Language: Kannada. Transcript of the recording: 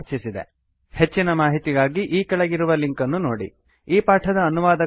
ಹೆಚ್ಚಿನ ಮಾಹಿತಿಗಾಗಿ spoken hyphen tutorial dot org slash NMEICT hyphen intro ಇಲ್ಲಿ ನೋಡಿ